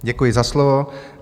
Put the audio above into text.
Děkuji za slovo.